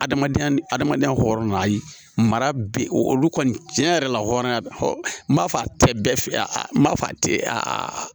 Adamadenya ni adamadenya hɔɔrɔn na ayi mara bɛ olu kɔni tiɲɛ yɛrɛ la hɔrɔnya hɔ n b'a fɔ a tɛ bɛɛ f a n b'a fɔ a tɛ a